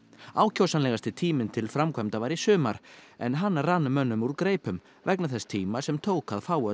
ákjósanlegasti tíminn til framkvæmda var í sumar en hann rann mönnum úr greipum vegna þess tíma sem tók að fá öll